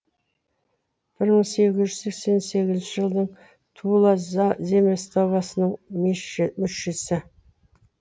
бір мың сегіз жүз сексен сегізінші жылдан тула земствосының мүшесі